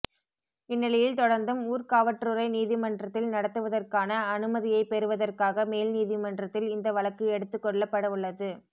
இந்நிலையில் தொடர்ந்தும் ஊர்காவற்றுறை நீதிமன்றத்தில் நடத்துவதற்கான அனுமதியை பெறுவதற்காக மேல் நீதிமன்றத்தில் இந்த வழக்கு எடுத்துக்கொள்ளப்படவுள்ளது